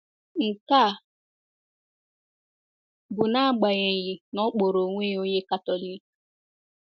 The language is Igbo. Nke a bụ n’agbanyeghị na ọ kpọrọ onwe ya onye Katọlik.